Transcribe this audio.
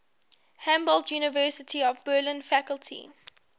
humboldt university of berlin faculty